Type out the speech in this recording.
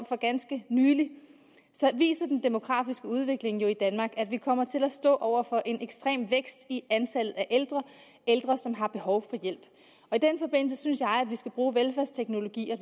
for ganske nylig viser den demografiske udvikling i danmark at vi kommer til at stå over for en ekstrem vækst i antallet af ældre ældre som har behov for hjælp og i den forbindelse synes jeg vi skal bruge velfærdsteknologien